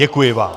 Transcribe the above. Děkuji vám.